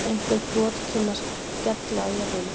Einhver brot kynnu að skella á jörðinni.